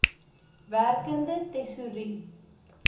werkende tesourie